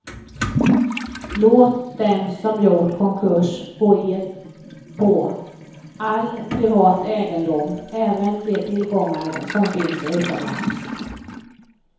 Låt dem som gjort konkurs gå ed på all privat egendom, även de tillgångar som finns utomlands.